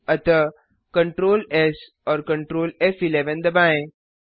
अतः Ctrl S और Ctrl फ़11 दबाएँ